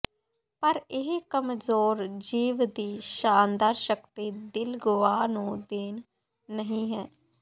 ਪਰ ਇਹ ਕਮਜ਼ੋਰ ਜੀਵ ਦੀ ਸ਼ਾਨਦਾਰ ਸ਼ਕਤੀ ਦਿਲ ਗੁਆ ਨੂੰ ਦੇਣ ਨਹੀ ਹੈ